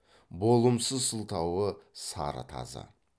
болымсыз сылтауы сары тазы